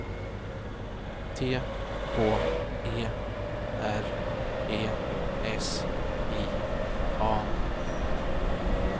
T H E R E S I A